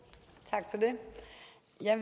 jeg